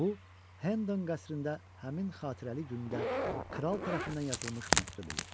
Bu Hendon qəsrində həmin xatirəli gündə kral tərəfindən yazılmış məktub idi.